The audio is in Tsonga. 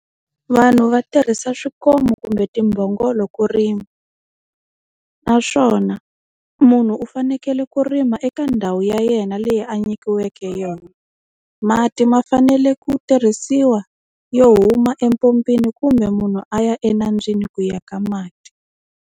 Vanhu va tirhisa swikomu kumbe timbhongolo ku rima. Naswona munhu u fanekele ku rima eka ndhawu ya yena leyi a nyikiweke yona. Mati ma fanele ku tirhisiwa yo huma empompini kumbe munhu a ya enambyeni ku ya ka mati.